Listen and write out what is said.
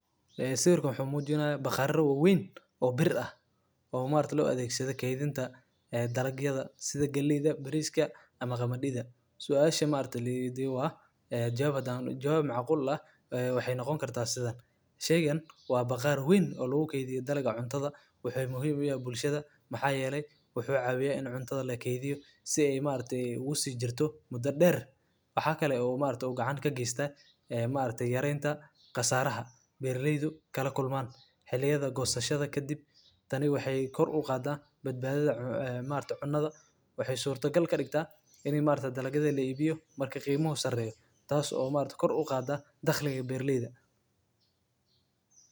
Bakhaarrada hadhuudhka waa dhismayaal muhiim ah oo loogu talagalay kaydinta iyo ilaalinta hadhuudhka sida galleyda, masagada, iyo bariiska, si looga hortago wasakhowga, qoyaanka, iyo cayayaanka. Silos-yadani waxay ka caawiyaan beeraleyda iyo ganacsatada in ay si habsami leh u maareeyaan badeecadaha beeraha, iyagoo hubinaya in hadhuudhka aan lumin tayadiisa inta lagu jiro kaydinta muddada dheer.